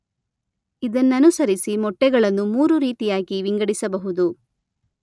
ಇದನ್ನನುಸರಿಸಿ ಮೊಟ್ಟೆಗಳನ್ನು ಮೂರು ರೀತಿಯಾಗಿ ವಿಂಗಡಿಸಬಹುದು.